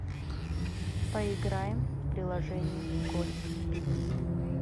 поиграем в приложение гольф пикс